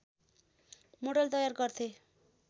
model तयार गर्थे